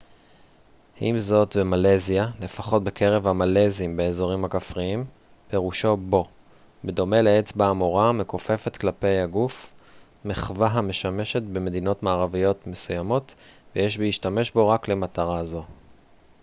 עם זאת במלזיה לפחות בקרב המלזים באזורים כפריים פירושו בוא בדומה לאצבע המורה המכופפת כלפי הגוף מחווה המשמשת במדינות מערביות מסוימות ויש להשתמש בו רק למטרה זו